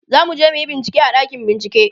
zamuje muyi bincike a ɗakin bincike